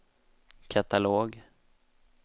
katalog